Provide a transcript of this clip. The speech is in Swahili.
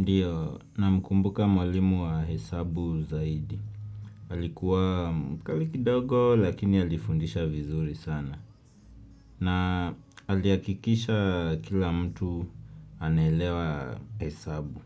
Ndiyo, namkumbuka mwalimu wa hesabu zaidi. Alikuwa mkali kidogo lakini alifundisha vizuri sana. Na alihakikisha kila mtu anaelewa hesabu.